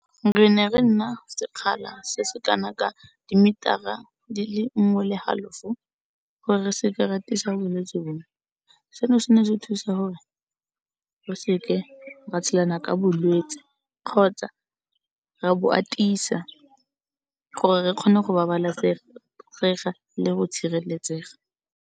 Re ne re nna sekgala se se ka na ka, di-meter-a dile nngwe le halofo, gore re se ke ra atisa bolwetsi bo. Seno se ne di thusa gore re se ke ra tshelana ka bolwetsi kgotsa ra bo atisa, gore re kgone go babalesega le go tshireletsega.